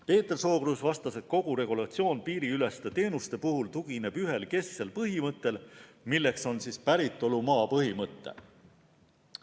Peeter Sookruus vastas, et kogu regulatsioon piiriüleste teenuste puhul tugineb ühele kesksele põhimõttele, milleks on päritolumaa põhimõte.